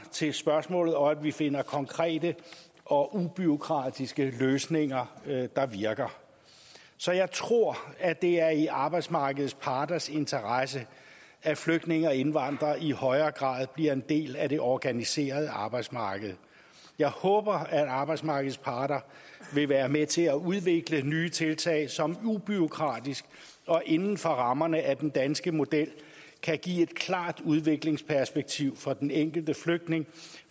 til spørgsmålet og at vi finder konkrete og ubureaukratiske løsninger der virker så jeg tror at det er i arbejdsmarkedets parters interesse at flygtninge og indvandrere i højere grad bliver en del af det organiserede arbejdsmarked jeg håber at arbejdsmarkedets parter vil være med til at udvikle nye tiltag som ubureaukratisk og inden for rammerne af den danske model kan give et klart udviklingsperspektiv for den enkelte flygtning